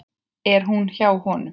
En hún er hjá honum.